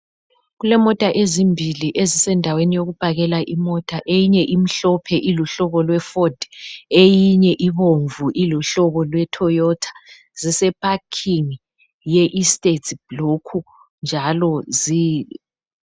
Kulemota ezimbili ezisendaweni yokuphakela imota. Eyinye imhlophe iluhlobo lwefodi. Eyinye ibomvu iluhlobo lwetoyota. Zesephakini ye isistethi bloko njalo zi.